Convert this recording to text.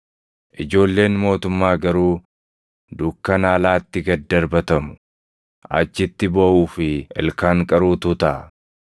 Ijoolleen mootummaa garuu dukkana alaatti gad darbatamu; achitti booʼuu fi ilkaan qaruutu taʼa.”